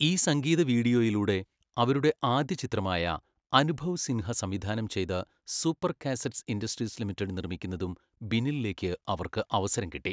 ഈ സംഗീത വീഡിയോയിലൂടെ, അവരുടെ ആദ്യ ചിത്രമായ അനുഭവ് സിൻഹ സംവിധാനം ചെയ്ത് സൂപ്പർ കാസറ്റ്സ് ഇൻഡസ്ട്രീസ് ലിമിറ്റഡ് നിർമ്മിക്കുന്നതും ബിന്നിൻലേക്ക് അവർക്ക് അവസരം കിട്ടി.